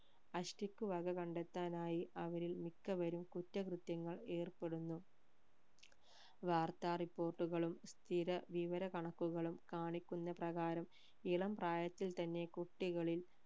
അഷ്ടിക്ക് വക കണ്ടെത്താനായി അവരിൽ മിക്കവരും കുറ്റകൃത്യങ്ങൾ ഏർപ്പെടുന്നു വാർത്ത report കളും സ്ഥിര വിവരകണക്കുകളും കാണിക്കുന്ന പ്രകാരം ഇളം പ്രായത്തിൽ തന്നെ കുട്ടികളിൽ